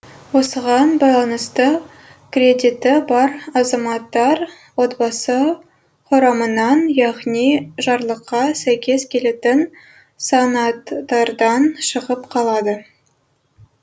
осыған байланысты кредиті бар азаматтар отбасы құрамынан яғни жарлыққа сәйкес келетін санаттардан шығып қалады